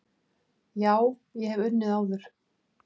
Já, ég hef unnið áður.